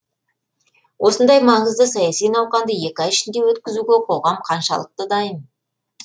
осындай маңызды саяси науқанды екі ай ішінде өткізуге қоғам қаншалықты дайын